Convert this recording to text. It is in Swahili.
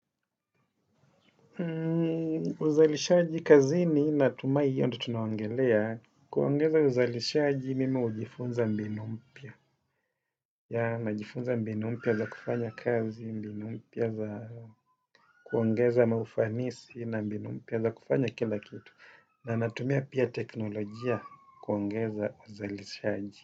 Uzalishaji kazini natumai hiyo ndo tunaongelea. Kuongeza uzalishaji mimi hujifunza mbinu mpya. Ninajifunza mbinu mpya za kufanya kazi, mbinu mpya za kuongeza maufanisi na mbinu mpya za kufanya kilakitu. Na ninatumia pia teknolojia kuongeza uzalishaji.